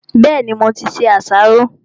Bẹ́ẹ̀ni, mo ti se àsáró.